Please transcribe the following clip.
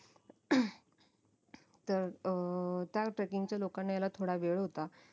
तर अं त्या trekking च्या लोकांना यायला थोडा वेळ होता